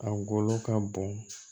A golo ka bon